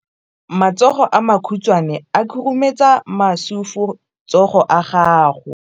Matsogo a makhutshwane a khurumetsa masufutsogo a gago.